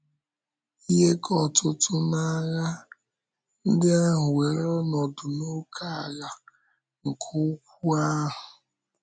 Ihe ka ọtụtụ n’ághà ndị ahụ wéèrè ọnọdụ n’ókèala nke ukwu ahụ.